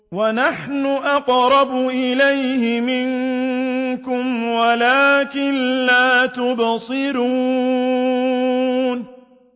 وَنَحْنُ أَقْرَبُ إِلَيْهِ مِنكُمْ وَلَٰكِن لَّا تُبْصِرُونَ